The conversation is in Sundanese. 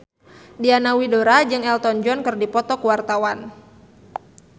Diana Widoera jeung Elton John keur dipoto ku wartawan